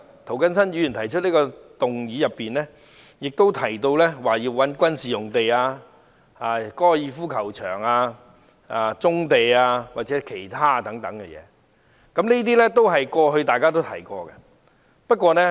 涂謹申議員的議案提到要使用軍事用地、高爾夫球場、棕地或其他用地來建屋，這些都是大家過去提過的。